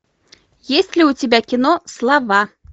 есть ли у тебя кино слова